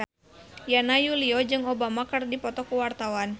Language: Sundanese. Yana Julio jeung Obama keur dipoto ku wartawan